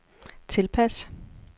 tilpas